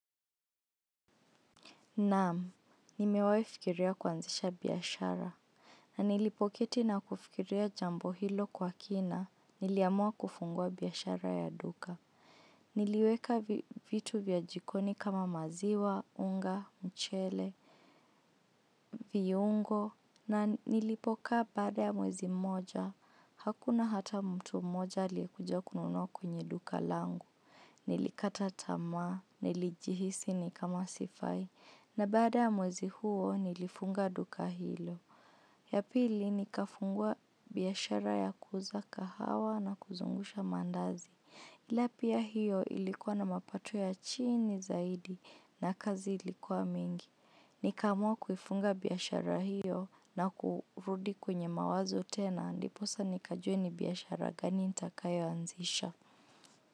Naam, nimewahi fikiria kuanzisha biashara. Na nilipoketi na kufikiria jambo hilo kwa kina, niliamua kufungua biashara ya duka. Niliweka vitu vya jikoni kama maziwa, unga, mchele, viungo. Na nilipoka baada ya mwezi moja, hakuna hata mtu moja liyekuja kununua kwenye duka langu. Nilikata tamaa, nilijihisi ni kama sifai, na baada ya mwezi huo nilifunga duka hilo. Yapili nikafungua biashara ya kuuza kahawa na kuzungusha mandazi. Ilapia hiyo ilikuwa na mapato ya chini zaidi na kazi ilikuwa mingi. Nikaamua kuifunga biashara hiyo na kurudi kwenye mawazo tena, ndiposa nikajue ni biashara gani nitakayoanzisha.